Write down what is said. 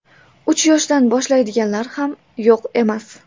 Uch yoshdan boshlaydiganlar ham yo‘q emas.